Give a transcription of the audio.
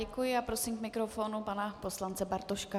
Děkuji a prosím k mikrofonu pana poslance Bartoška.